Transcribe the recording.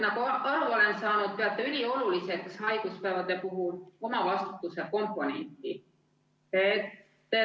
Nagu ma aru olen saanud, peate haiguspäevade puhul ülioluliseks omavastutuse komponenti.